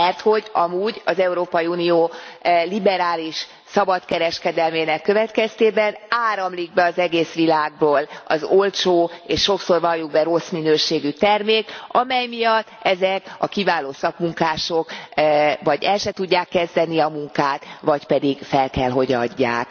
Merthogy amúgy az Európai Unió liberális szabad kereskedelmének következtében áramlik be az egész világból az olcsó és sokszor valljuk be rossz minőségű termék, amely miatt ezek a kiváló szakmunkások vagy el sem tudják kezdeni a munkát, vagy pedig fel kell, hogy adják.